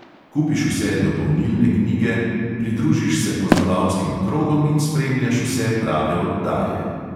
Kupiš vse dopolnilne knjige, pridružiš se poznavalskim krogom in spremljaš vse prave oddaje.